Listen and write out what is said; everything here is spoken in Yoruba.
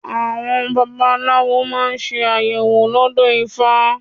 Àwọn baba aláwo máa ń ṣe àyẹ̀wò lọ́dọ̀ ifá.